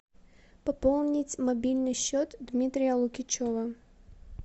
пополнить мобильный счет дмитрия лукичева